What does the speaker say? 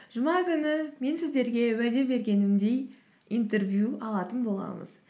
жұма күні мен сіздерге уәде бергенімдей интервью алатын боламыз